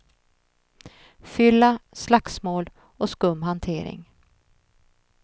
Fylla, slagsmål och skum hantering.